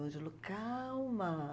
O Ângelo, calma.